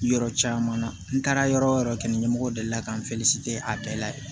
Yɔrɔ caman na n taara yɔrɔ yɔrɔ kelen ɲɛmɔgɔ delila ka n a bɛɛ la yen